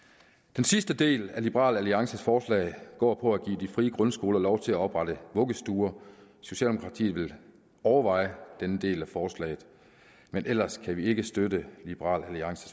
den sidste del af liberal alliances forslag går på at give de frie grundskoler lov til at oprette vuggestuer socialdemokratiet vil overveje denne del af forslaget men ellers kan vi ikke støtte liberal alliances